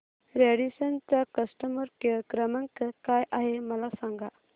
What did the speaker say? Radisson चा customer care क्रमांक काय आहे मला सांगा